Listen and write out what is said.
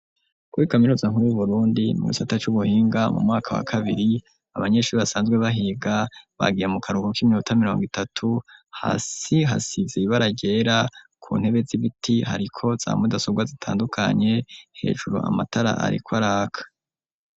Kuri kaminuza nkuru y'uburundi mugisata c'ubuhinga mu mwaka wa kabiri, abanyeshuri basanzwe bahiga bagiye mu karuhuka kimiota miriongo itatu, hasi hasize ibara ryera ku ntebe z'ibiti hariko za mudasobwa zitandukanye hejuru amatara ariko araka.